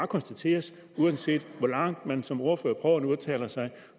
konstateres uanset hvor langt man som ordfører prøver at tale sig